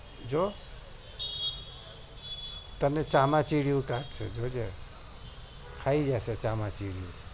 તને ચામાંચીદીયું કાત્સે જોજે ખાઈ જશે ચામાચિડિયું તું જો